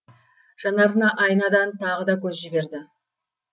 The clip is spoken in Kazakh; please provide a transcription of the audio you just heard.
жанарына айнадан тағы да көз жіберді